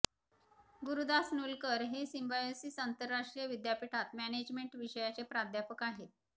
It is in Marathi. गुरुदास नूलकर हे सिम्बायोसिस अंतरराष्ट्रीय विद्यापीठात मॅनेजमेंट विषयाचे प्राध्यापक आहेत